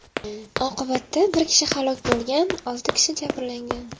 Oqibatda bir kishi halok bo‘lgan, olti kishi jabrlangan.